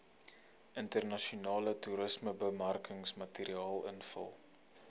internasionale toerismebemarkingsmateriaal invul